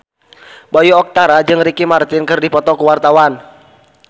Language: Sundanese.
Bayu Octara jeung Ricky Martin keur dipoto ku wartawan